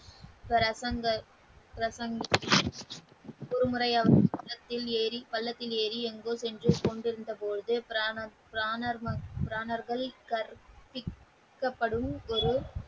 பிரசன பிரசாந்த ஒரு முறையாவது பல்லாக்கில் ஏறி எங்கோ சென்று கொண்டு இருந்த பொழுத பிரானர்கள் கற்பிக்கப்படும் ஒரு.